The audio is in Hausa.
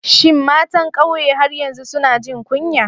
Shin matan kauye har yanzu suna jin kunya?